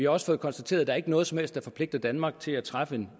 også fået konstateret at der ikke er noget som helst der forpligter danmark til at træffe en